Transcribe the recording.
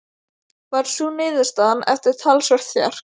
Varð sú niðurstaðan eftir talsvert þjark.